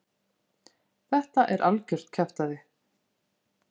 Þetta er algjört kjaftæði?